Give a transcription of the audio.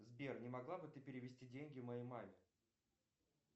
сбер не могла бы ты перевести деньги моей маме